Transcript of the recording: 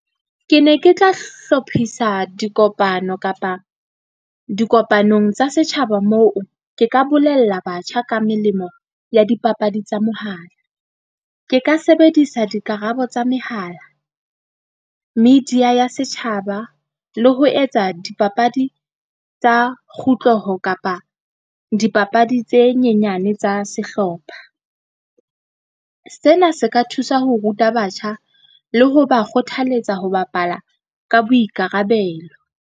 Ke ne ke tla hlophisa dikopano kapa dikopanong tsa setjhaba, moo ke ka bolella batjha ka melemo ya dipapadi tsa mohala. Ke ka sebedisa dikarabo tsa mehala. Media ya setjhaba le ho etsa dipapadi tsa kapa dipapadi tse nyenyane tsa sehlopha. Sena se ka thusa ho ruta batjha le ho ba kgothaletsa ho bapala ka boikarabelo.